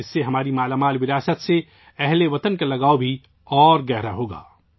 اس سے ہم وطنوں کا ہمارے شاندار ورثے سے لگاؤ مزید گہرا ہو گا